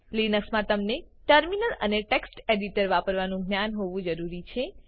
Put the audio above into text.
Linuxમા તમને ટર્મિનલ અને text editor વાપરવાનું જ્ઞાન હોવું જરૂરી છે